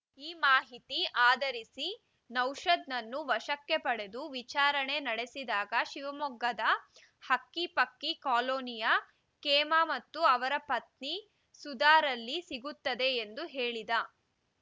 ಈ ಮಾಹಿತಿ ಆಧರಿಸಿ ನೌಶದ್‌ನನ್ನು ವಶಕ್ಕೆ ಪಡೆದು ವಿಚಾರಣೆ ನಡೆಸಿದಾಗ ಶಿವಮೊಗ್ಗದ ಹಕ್ಕಿಪಕ್ಕಿ ಕಾಲೋನಿಯ ಕೇಮ ಮತ್ತು ಅವರ ಪತ್ನಿ ಸುಧಾರಲ್ಲಿ ಸಿಗುತ್ತವೆ ಎಂದು ಹೇಳಿದ